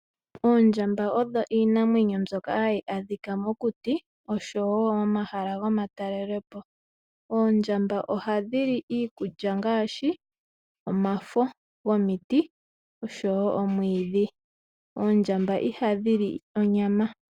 Oondjamba odho iinamwenyo mbyoka hayi adhika mokuti oshowo momahala gomatalele po. Oondjamba ohadhi li iikulya ngaashi omafo gomiti oshowo omwiidhi. Oondjamba ihadhi li onyama.